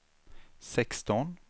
sexton